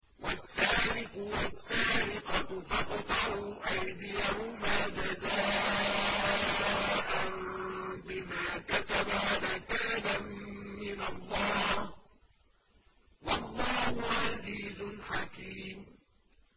وَالسَّارِقُ وَالسَّارِقَةُ فَاقْطَعُوا أَيْدِيَهُمَا جَزَاءً بِمَا كَسَبَا نَكَالًا مِّنَ اللَّهِ ۗ وَاللَّهُ عَزِيزٌ حَكِيمٌ